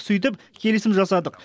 сөйтіп келісім жасадық